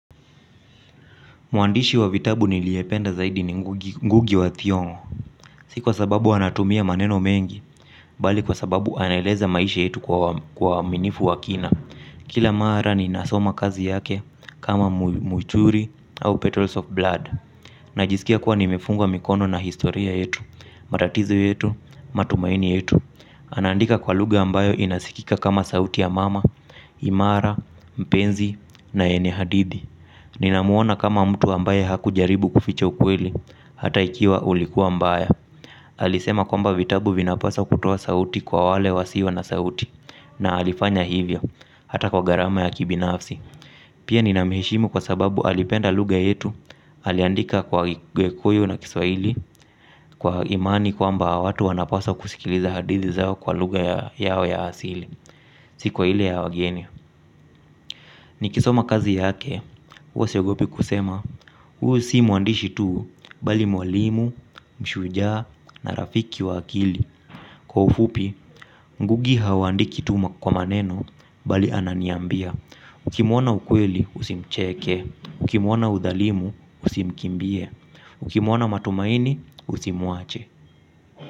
Mwandishi wa vitabu niliependa zaidi ni Ngugi wa Thiongo. Si kwa sababu anatumia maneno mengi, bali kwa sababu anaeleza maisha yetu kwa waminifu wa kina. Kila mara ninasoma kazi yake kama muchuri au petals of blood. Najiskia kuwa nimefungwa mikono na historia yetu, matatizo yetu, matumaini yetu. Anaandika kwa lugha ambayo inasikika kama sauti ya mama, imara, mpenzi na yene hadithi. Ninamuona kama mtu ambaye hakujaribu kuficha ukweli. Hata ikiwa ulikuwa mbaya alisema kwamba vitabu vinapaswa kutoa sauti kwa wale wasio na sauti na alifanya hivyo hata kwa gharama ya kibinafsi. Pia ninamuheshimu kwa sababu alipenda lugha yetu aliandika kwa gikuyu na kiswahili. Kwa imani kwamba watu wanapaswa kusikiliza hadithi zao kwa luga yao ya asili. Si kwa ile ya wageni. Nikisoma kazi yake huwa siogopi kusema. Huyu si mwandishi tu bali mwalimu, mshujaa na rafiki wa akili. Kwa ufupi, ngugi haandiki tu kwa maneno bali ananiambia ukimuona ukweli usicheke, ukimuona udhalimu usimkimbie, ukimwona matumaini usimwache.